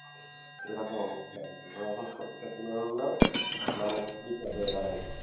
মানে এরকম অবস্থা আর কি। এখন সত্যিটা তুলে আনলা মানে বিপদ হয়ে দাঁড়ায়।